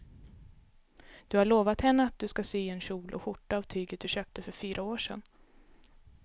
Du har lovat henne att du ska sy en kjol och skjorta av tyget du köpte för fyra år sedan.